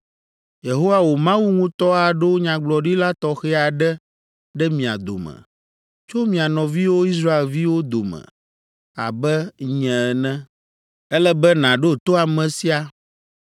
Yehowa wò Mawu ŋutɔ aɖo nyagblɔɖila tɔxɛ aɖe ɖe mia dome, tso mia nɔviwo Israelviwo dome abe nye ene. Ele be nàɖo to ame sia,